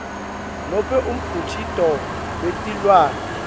nobe umkhicito wetilwane